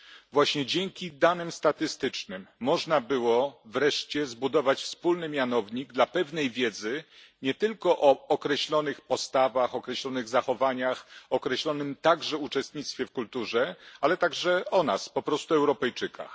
Właśnie dzięki danym statystycznym można było wreszcie zbudować wspólny mianownik dla pewnej wiedzy nie tylko o określonych postawach, o określonych zachowaniach, o określonym także uczestnictwie w kulturze, ale także o nas po prostu o Europejczykach.